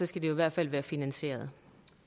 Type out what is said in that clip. skal det i hvert fald være finansieret